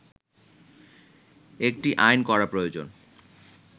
একটি আইন করা প্রয়োজন